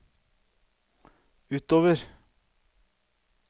utover